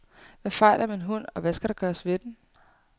Hvad fejler min hund, og hvad skal der gøres ved den?